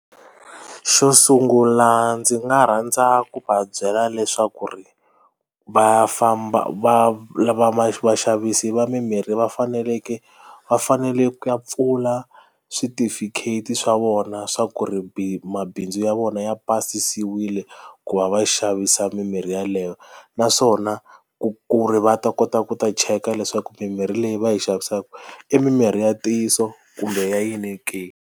Xo sungula ndzi nga rhandza ku va byela leswaku ri va famba va lava vaxavisi va mimirhi va faneleke va fanele ku ya pfula switifikheti swa vona swa ku ri mabindzu ya vona ya pasisiwile ku va va xavisa mimirhi yeleyo naswona ku ku ri va ta kota ku ta cheka leswaku mimirhi leyi va yi xavisaka i mimirhi ya ntiyiso kumbe ya yini ke.